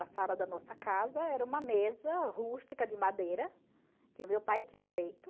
A sala da nossa casa era uma mesa rústica de madeira, que o meu pai tinha feito.